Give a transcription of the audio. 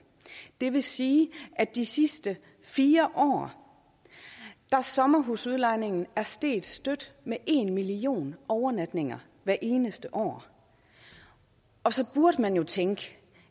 det vil sige at de sidste fire år er sommerhusudlejningen steget stødt med en million overnatninger hvert eneste år og så burde man jo tænke